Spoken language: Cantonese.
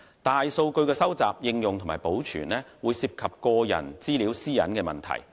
大數據的收集、應用和保存，會涉及個人資料私隱的問題。